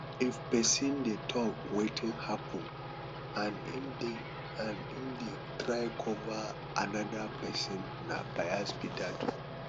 if person dey talk wetin happen and im dey and im dey try cover anoda person na bias be that